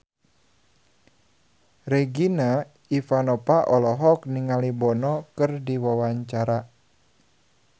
Regina Ivanova olohok ningali Bono keur diwawancara